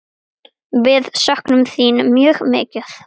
Við söknum þín mjög mikið.